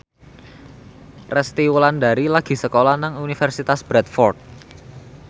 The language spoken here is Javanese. Resty Wulandari lagi sekolah nang Universitas Bradford